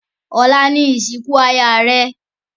ọlá ní ìsìnkú ìyá rẹ